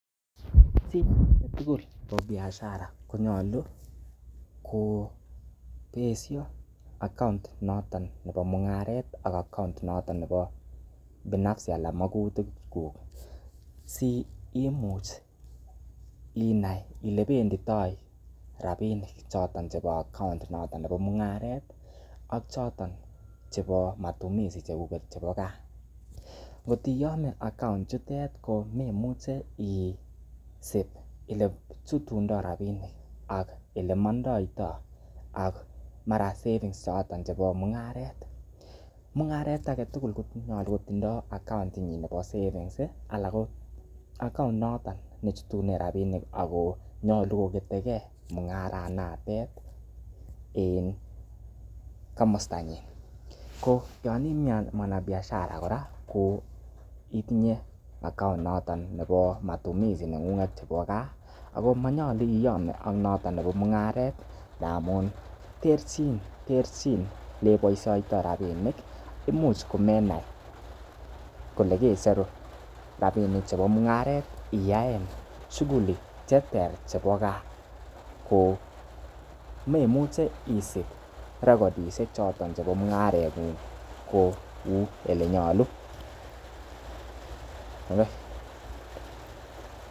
Chi age tugul nebo biashara konyolu kobesho account noton nebo mung'aret ak account binafsi anan bo magutik kuk si imuch inai ile benditoi rabinik choto chebo account inoto nebo mung'aret ak choto chebo matumizi chekuget bo ga ngot iyome account ichutet komemuche isib ele chutundo rabinik ak ole mondoito ak mara savings choto chebo mung'aret. Mung'aret age tugul konyolu kotindo account inyin nebo savings anan ko account noton nechutunen rabinik ago nyolu ko ketekei mung'aranotet en komostanyin. ko yan ii mwanabishara kora ko itinye account noto nebo matumizi chebo gaa ago monyolu iyome ak noto nebo mung'aret ngamun terchin ele keboisioito rabinik imuch komenai kole kecheru rabinik chebo mung'aret iyaen shughuli che ter chebo gaa ko memuche isib recordishek choton chebo mung'areng'ung kou ele nyolu.